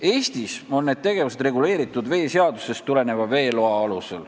Eestis on need tegevused reguleeritud veeseadusest tulenevate veelubadega.